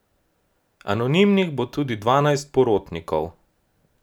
Anonimnih bo tudi dvanajst porotnikov.